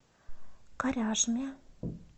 коряжме